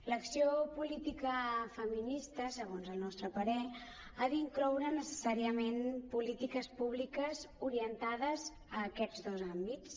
l’acció política feminista segons el nostre parer ha d’incloure necessàriament polítiques públiques orientades a aquests dos àmbits